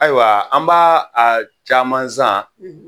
Ayiwa an b'a a caman zan